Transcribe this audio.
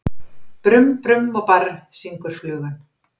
Brum-brum og barr, syngur flugan.